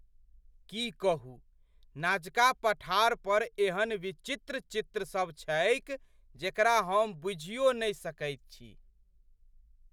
की कहू, नाजका पठार पर एहन विचित्र चित्रसभ छैक जेकरा हम बूझियो नहि सकैत छी!